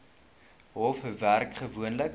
hof werk gewoonlik